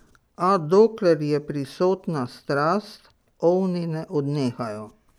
A dokler je prisotna strast, ovni ne odnehajo.